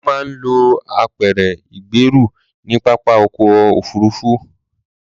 Wọ́n máa ń lo apẹ̀rẹ̀ ìgbẹ́rù ní pápá ọkọ̀ òfuruufú.